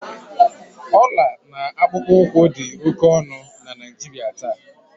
ọla na akpụkpọ ụkwụ dị oke ọnụ na Naijiria taa